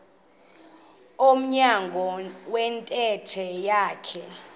emnyango wentente yakhe